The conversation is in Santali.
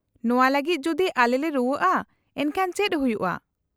-ᱱᱚᱶᱟ ᱞᱟᱹᱜᱤᱫ ᱡᱩᱫᱤ ᱟᱞᱮᱞᱮ ᱨᱩᱣᱟᱹᱜᱼᱟ ᱮᱱᱠᱷᱟᱱ ᱪᱮᱫ ᱦᱩᱭᱩᱜᱼᱟ ?